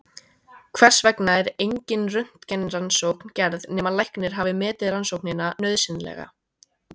Þess vegna er engin röntgenrannsókn gerð nema læknir hafi metið rannsóknina nauðsynlega.